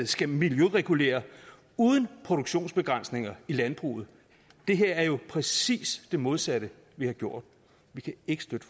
skal miljøregulere uden produktionsbegrænsninger i landbruget det her er jo præcist det modsatte vi har gjort vi kan ikke støtte